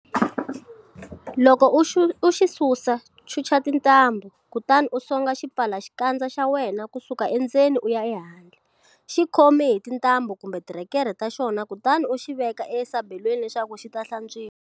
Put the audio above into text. Loko u xi susa, chucha tintambhu, kutani u songa xipfalaxikandza xa wena ku suka endzeni u ya ehandle, xi khomi hi tintambhu kumbe tirhekerhe ta xona kutani u xi veka esabelweni leswaku xi ta hlantswiwa.